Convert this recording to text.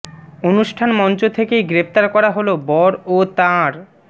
অনুষ্ঠান মঞ্চ থেকেই গ্রেফতার করা হল বর ও তাঁর